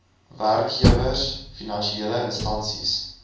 werkgewers finansiele instansies